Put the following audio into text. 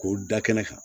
K'o da kɛnɛ kan